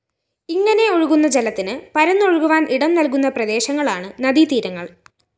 ഇങ്ങനെ ഒഴുകുന്ന ജലത്തിന് പരന്നൊഴുകുവാന്‍ ഇടംനല്‍കുന്ന പ്രദേശങ്ങളാണ് നദീതീരങ്ങള്‍